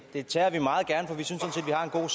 for